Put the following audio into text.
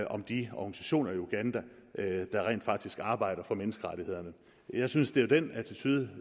om de organisationer i uganda der rent faktisk arbejder for menneskerettighederne jeg synes det er den attitude